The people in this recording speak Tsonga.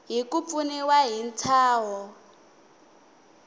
hi ku pfuniwa hi ntshaho